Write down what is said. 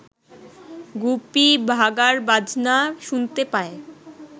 গুপি বাঘার বাজনা শুনতে পায়